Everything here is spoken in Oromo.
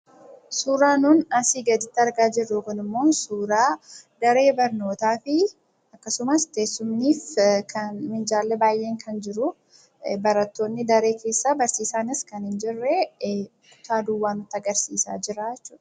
Suuraa nun asii gaditti argaa jirru kunimmoo, suuraa daree barnootaati. Akkasumas teessumni kan Minjaalli baay'een kan jiru barattoonni daree keessa barsiisaanis kan hin jirre kutaa duwwaa nutti agarsiisaa jira jechuudha.